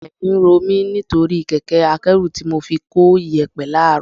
Ẹ̀yìn ń ro mi nítorí kẹ̀kẹ́ akẹ́rù tí mo fi ko iyẹ̀pẹ̀ láàrọ̀